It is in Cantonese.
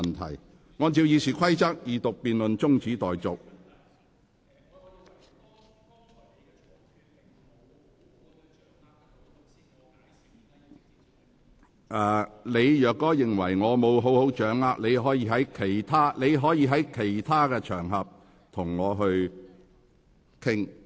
范國威議員，如你認為我未能掌握你的論點，你可以在其他場合與我討論。